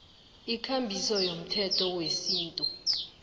ikambiso yomthetho wesintu